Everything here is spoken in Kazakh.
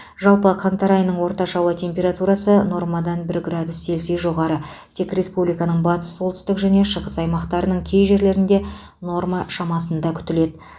жалпы қаңтар айының орташа ауа температурасы нормадан бір градус цельсий жоғары тек республиканың батыс солтүстік және шығыс аймақтарының кей жерлерінде норма шамасында күтіледі